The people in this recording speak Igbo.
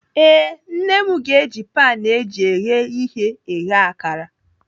Ee, Nne m ga-eji pan eji eghe ihe eghe akara.